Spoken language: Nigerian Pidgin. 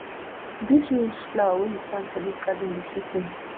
dese rose flower wey you plant for dis garden dey sweet me